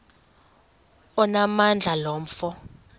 onamandla lo mfo